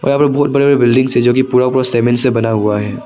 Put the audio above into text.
यहां पे बहुत बड़े बड़े बिल्डिंग्स है जो कि पूरा पूरा सीमेंट्स से बना हुआ है।